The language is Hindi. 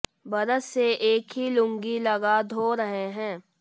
बरस से एक ही लुंगी लगा धो रहे हैं